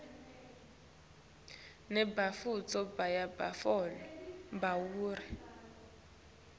nebantfu bayabatfola bantfwana